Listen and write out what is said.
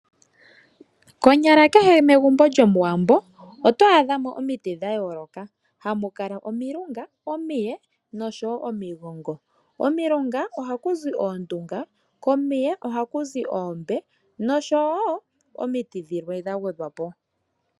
Konyala kehe megumbo mOwambo ohamu adhika omiti dha yoolokathana ngaashi omilunga, omiye noshowo omigongo. Komilunga ohaku zi oondunga, komiye ohaku zi oombe nokomigongo ohaku zi oongongo.